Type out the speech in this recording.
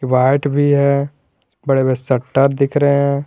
White भी है बड़े शटर दिख रहे हैं।